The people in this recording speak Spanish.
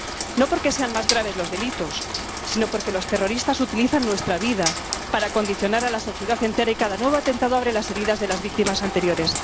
No porque sean más graves los delitos, sino porque los terroristas utilizan nuestra vida para condicionar a la sociedad entera, y cada nuevo atentado abre las heridas de las víctimas anteriores.